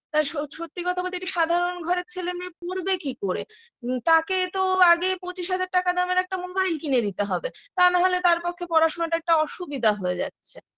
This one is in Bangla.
তা সত্যি কথা বলতে একটি সাধারণ ঘরের ছেলে মেয়ে পড়বে কি করে তাকে তো আগে পঁচিশ হাজার টাকা দামের একটা mobile কিনে দিতে হবে তা না হলে তার পক্ষে পড়াশোনাটা একটা অসুবিধা হয়ে যাচ্ছে